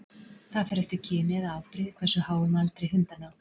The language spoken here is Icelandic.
Það fer eftir kyni eða afbrigði hversu háum aldri hundar ná.